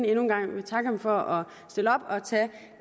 endnu en gang vil takke ham for at stille op og tage